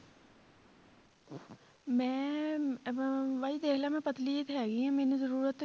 ਮੈਂ ਬਾਜੀ ਦੇਖ ਲੈ ਮੈਂ ਪਤਲੀ ਜਿਹੀ ਤਾਂ ਹੈਗੀ ਹਾਂ ਮੈਨੂੰ ਜ਼ਰੂਰਤ